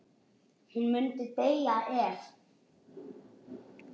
Hún myndi deyja ef.?